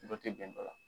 Dɔ tɛ bɛn dɔ la